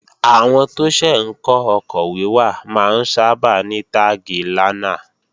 Àwọn tó ṣẹ̀ ń kọ́ ọkọ̀ wíwà máa ń sábà ní táàgi 'lánà'